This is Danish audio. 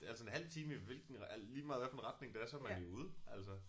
Altså en halv time i hvilken lige meget hvilken retning det er så man jo ude altså